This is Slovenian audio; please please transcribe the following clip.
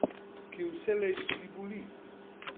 Ki vselej tudi boli.